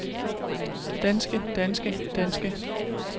danske danske danske